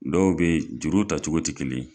Dɔw bɛ juru ta cogo tɛ kelen ye.